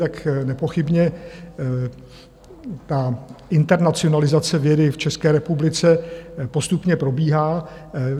Tak nepochybně ta internacionalizace vědy v České republice postupně probíhá.